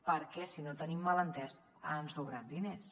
perquè si no ho tenim mal entès han sobrat diners